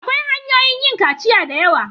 Akwai hanyoyin yin kaciya da yawa.